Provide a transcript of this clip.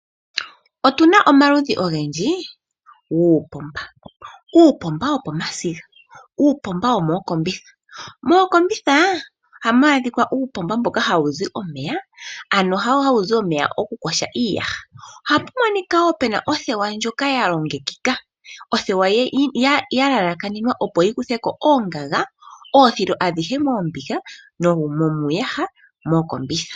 Otu na omaludhi ogendji guupomba. Uupomba wopomasiga nuupomba womookombitha. Mookombitha ohamu adhika uupomba mboka hawu zi omeya, ano hawu zi omeya gokuyoga uuyaha. Ohapu monika wo pu na othewa ndjoka ya longekekeka, othewa ndjoka ya lalakanenwaa, opo yi kuthe ko oongaga, oodhilo adhihe koombiga nomuuyaha mookombitha.